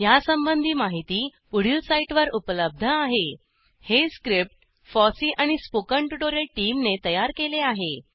यासंबंधी माहिती पुढील साईटवर उपलब्ध आहेhttpspoken tutorialorgNMEICT Intro हे स्क्रिप्ट फॉसी आणि spoken ट्युटोरियल टीमने तयार केले आहे